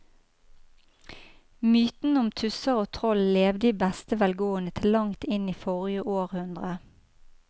Mytene om tusser og troll levde i beste velgående til langt inn i forrige århundre.